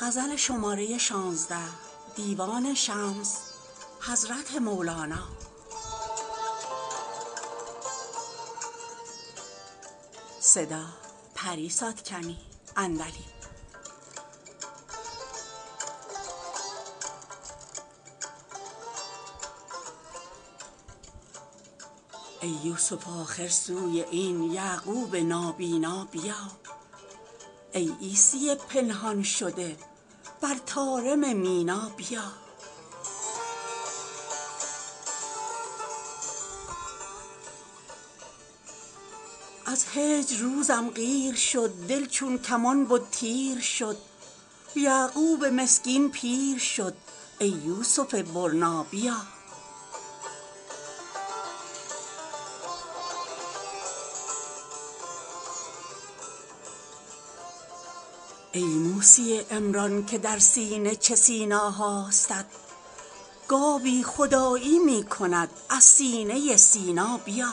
ای یوسف آخر سوی این یعقوب نابینا بیا ای عیسی پنهان شده بر طارم مینا بیا از هجر روزم قیر شد دل چون کمان بد تیر شد یعقوب مسکین پیر شد ای یوسف برنا بیا ای موسی عمران که در سینه چه سینا هاستت گاوی خدایی می کند از سینه سینا بیا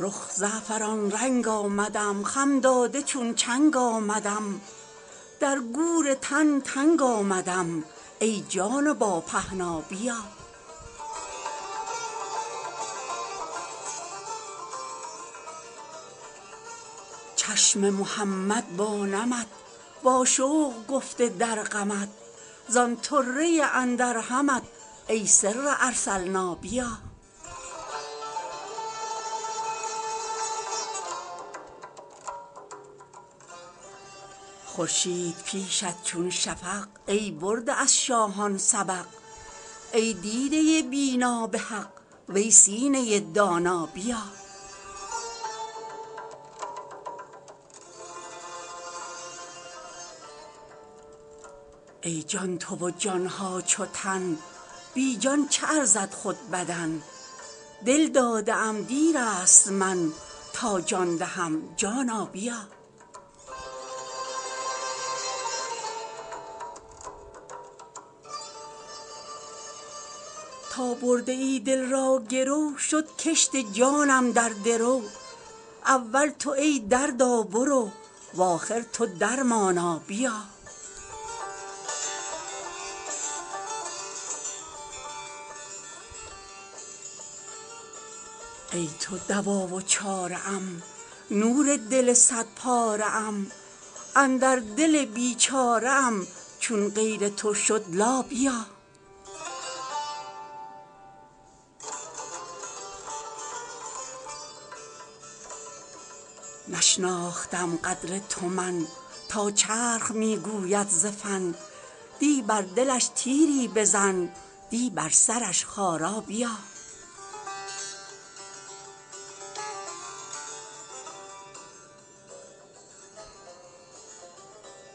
رخ زعفران رنگ آمدم خم داده چون چنگ آمدم در گور تن تنگ آمدم ای جان با پهنا بیا چشم محمد با نمت واشوق گفته در غمت زان طره اندر همت ای سر ارسلنا بیا خورشید پیشت چون شفق ای برده از شاهان سبق ای دیده بینا به حق وی سینه دانا بیا ای جان تو و جان ها چو تن بی جان چه ارزد خود بدن دل داده ام دیر است من تا جان دهم جانا بیا تا برده ای دل را گرو شد کشت جانم در درو اول تو ای دردا برو و آخر تو درمانا بیا ای تو دوا و چاره ام نور دل صدپاره ام اندر دل بیچاره ام چون غیر تو شد لا بیا نشناختم قدر تو من تا چرخ می گوید ز فن دی بر دلش تیری بزن دی بر سرش خارا بیا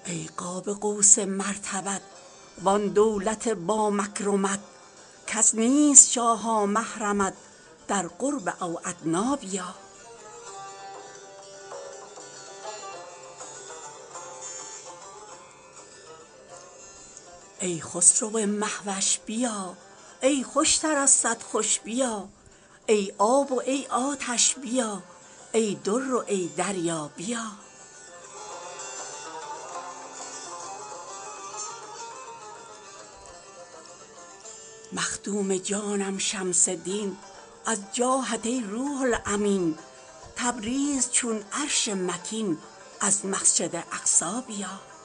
ای قاب قوس مرتبت وان دولت با مکرمت کس نیست شاها محرمت در قرب او ادنی بیا ای خسرو مه وش بیا ای خوشتر از صد خوش بیا ای آب و ای آتش بیا ای در و ای دریا بیا مخدوم جانم شمس دین از جاهت ای روح الامین تبریز چون عرش مکین از مسجد اقصی بیا